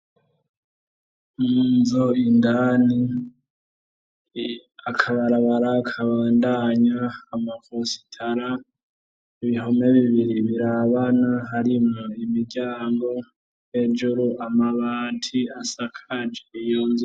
Munzu indani ,akabarabara kabandanya ,amakositara, ibihome bibiri birabana harimwo imiryango , hejuru amabati asakaje iyo nzu.